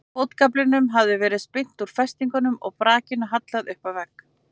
Fótagaflinum hafði verið spyrnt úr festingum og brakinu hallað upp að vegg.